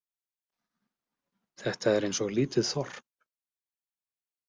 Þetta er eins og lítið þorp.